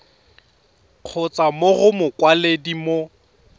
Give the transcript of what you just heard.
kgotsa mo go mokwaledi mo